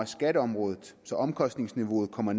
skatteområdet så omkostningsniveauet kommer